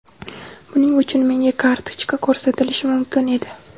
Buning uchun menga kartochka ko‘rsatilishi mumkin edi.